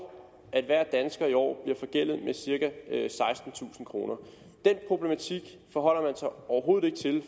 at hver dansker i år bliver forgældet med cirka sekstentusind kroner den problematik forholder man sig overhovedet ikke til i